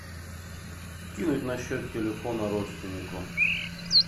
кинуть на счет телефона родственнику